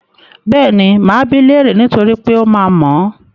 Bẹ́ẹ̀ni, máa bi í léèrè niítorí pé ó máa mọ̀ ọ́n.